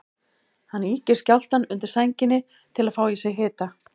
Hann ýkir skjálftann undir sænginni til að fá í sig hita.